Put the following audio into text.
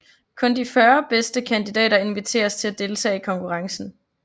Kun de 40 bedste kandidater inviteres til at deltage i konkurrencen